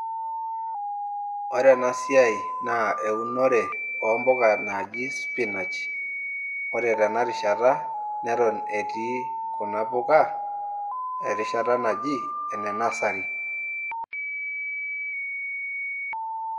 Ore enasiai na eunore ompuka naji spinach ore tenarishata natan etii kuna puka erishata naji ene nasari.